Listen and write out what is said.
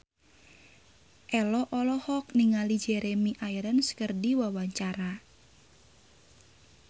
Ello olohok ningali Jeremy Irons keur diwawancara